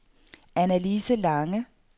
Annalise Lange